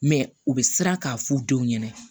Mɛ u bɛ siran k'a f'u denw ɲɛna